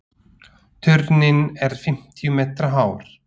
Turninn er fimmtíu metra hár.